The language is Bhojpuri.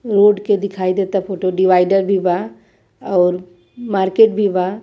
रोड के दिखाई देता फोटो डिवाइडर भी बा और मार्केट भी बा।